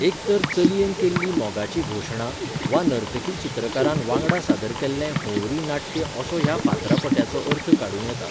एक तर चलयेन केल्ली मोगाची घोशणा वा नर्तकी चित्रकारान वांगडा सादर केल्लें होंवरी नाट्य असो ह्या फातरापट्याचो अर्थ काडू्ं येता.